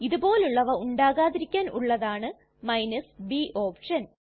ഇതുപോലുള്ളവ ഉണ്ടാകാതിരിക്കാൻ ഉള്ളതാണ് b option